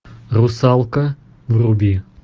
русалка вруби